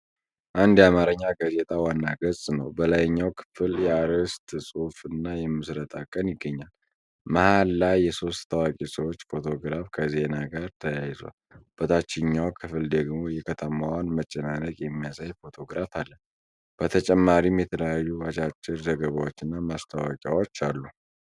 አንድ የአማርኛ ጋዜጣ ዋና ገጽ ነው። በላይኛው ክፍል የአርዕስት ጽሁፍ እና የምስረታ ቀን ይገኛሉ። መሃል ላይ የሶስት ታዋቂ ሰዎች ፎቶ ግራፍ ከዜና ጋር ተያይዟል። በታችኛው ክፍል ደግሞ የከተማዋን መጨናነቅ የሚያሳይ ፎቶግራፍ አለ። በተጨማሪም የተለያዩ አጫጭር ዘገባዎችና ማስታወቂያዎች አሉ።